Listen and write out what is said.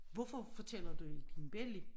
Hvorfor fortæller du ikke din belli